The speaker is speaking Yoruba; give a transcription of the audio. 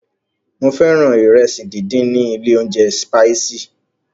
Mo fẹ́ràn ìrẹsì díndín ilé óúnjẹ Spices.